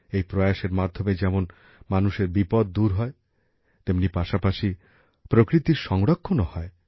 এই প্রয়াসের মাধ্যমে যেমন মানুষের বিপদ দূর হয় তেমনি পাশাপাশি প্রকৃতির সংরক্ষণও হয়